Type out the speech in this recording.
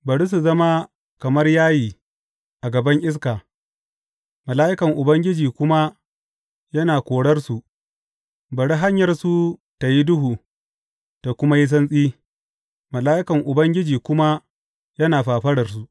Bari su zama kamar yayi a gaban iska, mala’ikan Ubangiji kuma yana korarsu; bari hanyarsu tă yi duhu ta kuma yi santsi, mala’ikan Ubangiji kuma yana fafararsu.